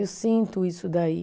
Eu sinto isso daí.